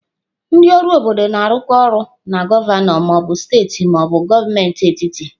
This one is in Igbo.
Ndị ọrụ obodo na-arụkọ ọrụ na gọvanọ ma ọ bụ steeti ma ọ bụ gọọmenti etiti.